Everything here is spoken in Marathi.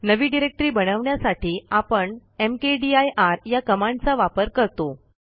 नवी डिरेक्टरी बनवण्यासाठी आपण मकदीर या कमांडचा वापर करतो